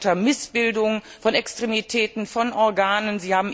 Sie leiden unter Missbildungen von Extremitäten, von Organen.